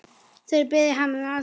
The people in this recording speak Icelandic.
Þeir biðja hann um aðstoð.